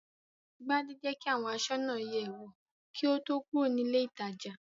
Gbadé jẹ́ kí àwọn aṣọ́nà yẹ̀ ẹ́ wò kí ó tó kúrò ní ilé-ìtajà.